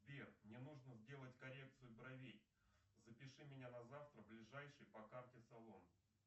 сбер мне нужно сделать коррекцию бровей запиши меня на завтра в ближайший по карте салон